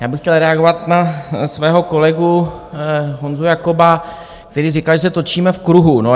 Já bych chtěl reagovat na svého kolegu Honzu Jakoba, který říkal, že se točíme v kruhu.